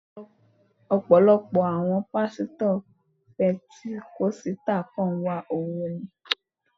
Ọ̀pọ̀lọpọ̀ àwọn Pásítọ̀ pẹntíkọ́sítà kàn ń wá owó ni.